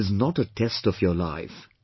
But it is not a test of your life